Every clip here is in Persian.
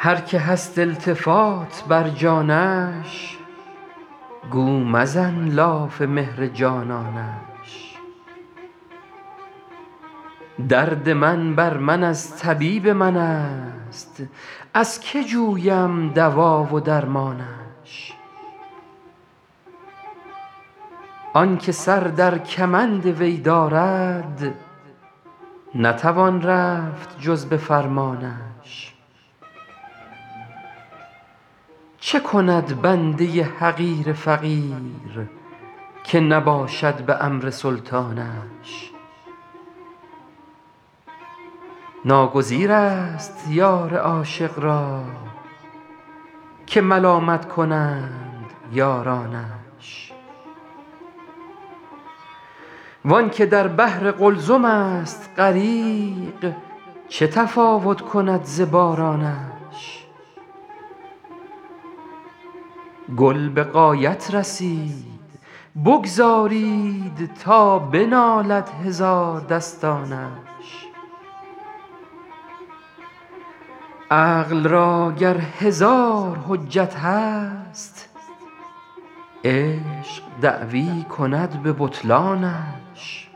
هر که هست التفات بر جانش گو مزن لاف مهر جانانش درد من بر من از طبیب من است از که جویم دوا و درمانش آن که سر در کمند وی دارد نتوان رفت جز به فرمانش چه کند بنده حقیر فقیر که نباشد به امر سلطانش ناگزیر است یار عاشق را که ملامت کنند یارانش وآن که در بحر قلزم است غریق چه تفاوت کند ز بارانش گل به غایت رسید بگذارید تا بنالد هزاردستانش عقل را گر هزار حجت هست عشق دعوی کند به بطلانش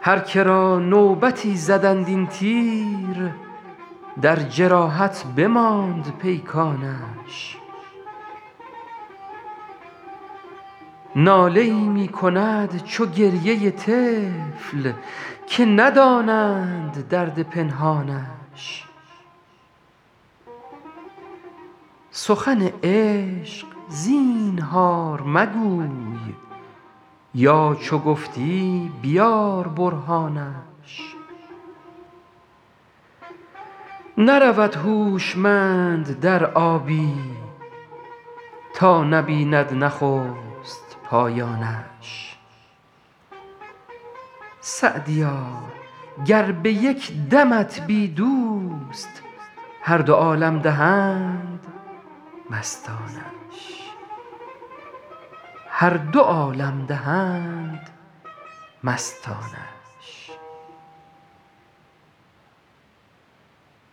هر که را نوبتی زدند این تیر در جراحت بماند پیکانش ناله ای می کند چو گریه طفل که ندانند درد پنهانش سخن عشق زینهار مگوی یا چو گفتی بیار برهانش نرود هوشمند در آبی تا نبیند نخست پایانش سعدیا گر به یک دمت بی دوست هر دو عالم دهند مستانش